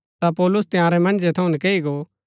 ता पौलुस तंयारै मन्जै थऊँ नकैई गो